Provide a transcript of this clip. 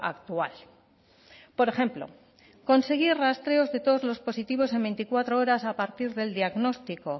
actual por ejemplo conseguir rastreos de todos los positivos en veinticuatro horas a partir del diagnóstico